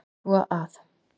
Svo að.